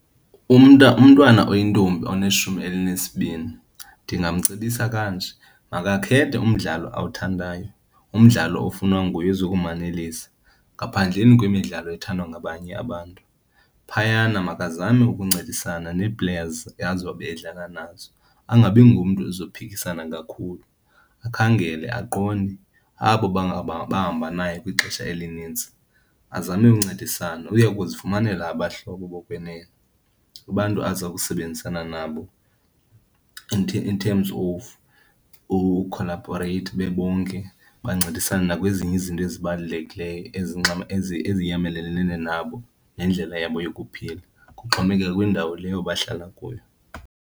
Umntwana oyintombi oneshumi elinesibini ndingamcebisa kanje, makakhethe umdlalo awuthandayo, umdlalo ofunwa nguye ozokumanelisa ngaphandleni kwemidlalo ethandwa ngabanye abantu. Phayana makazame ukuncedisana nee-players azobe edlala nazo, angabi ngumntu ozophikisana kakhulu. Akhangele, aqonde abo bahamba naye kwixesha elininzi azame uncedisana. Uya kuzifumanela abahlobo bokwenene, abantu aza kusebenzisana nabo in in terms of ukholabhoreyitha bebonke bancedisane nakwezinye izinto ezibalulekileyo eziyamelene nabo nendlela yabo yokuphila, kuxhomekeka kwindawo leyo bahlala kuyo.